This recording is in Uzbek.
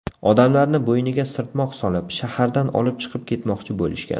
Odamlarni bo‘yniga sirtmoq solib, shahardan olib chiqib ketmoqchi bo‘lishgan.